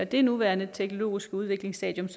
det nuværende teknologiske udviklingsstadie